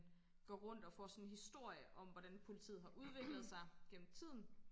går rundt og får sådan historier om hvordan poitiet har udviklet sig gennem tiden